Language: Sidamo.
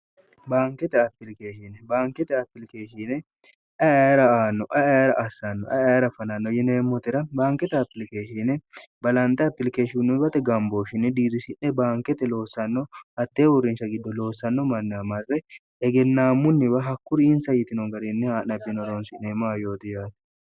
baankete ailikeeshine baankete apilikeeshiine ara aanno ara assanno aer fananno yineemmotera baankete apilikeeshiine balanxe apilikeeshinnoibate gambooshinni diirishi'ne baankete loossanno hattee huurrincha giddo loossanno manni amarre egennaammunniwa hakkuri insa yitino gariinni haa'na bino roonsi'neemmoa yoote yaate